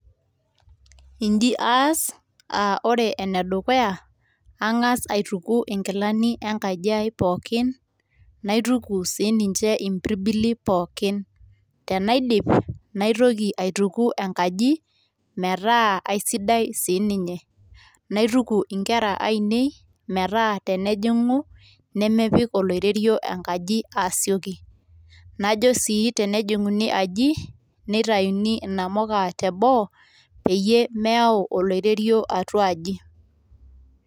Inji aas um wore ene dukuya ang'as aituku inkilani enkaji aai pookin, naituku si ninye impirbili pookin, tenaidip naitoki aituku enkaji metaa ai sidai sii ninye, naituku inkera ainei metaa tenejing'u nemepik oloirerio enkaji aasioki. Najo sii tenejing'uni enkaji neitaini inamuka te boo peyie meyau oloirerio atuaji.